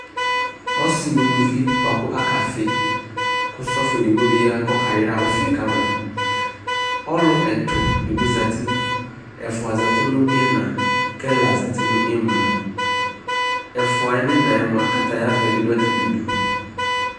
Ɔsɩ nʋ uluvi bʋa kʋ akafɩ kʋ sɔfo dɩ bɩ ya kʋ ɔkayra ɔfɩ yɛ ka ma Ɔlʋ ɛtʋ dɩ bɩ zati Ɛfʋa zati nʋ ɩɣɩna kʋ ɛla zati nʋ ɩmla Ɛfʋa yɛ nʋ ɩɣɩna yɛ mʋa, katayavɛ dɩ dʋ atamɩdu